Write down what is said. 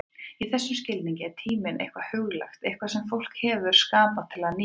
Í þessum skilningi er tíminn eitthvað huglægt, eitthvað sem fólk hefur skapað til að nýta.